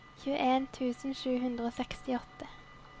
tjueen tusen sju hundre og sekstiåtte